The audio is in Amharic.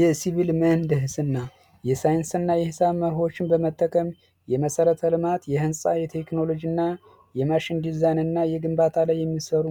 የሲቪል ምህንድሰና የሳይንስና የሂሳብ መርሆችን በመጠቀም የመሰረተ ልማት የህንፃ የቴክኖሎጂ እና የማሽን ዲዛይን እና የግንባታ ላይ የሚሰሩ